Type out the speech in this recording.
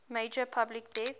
major public health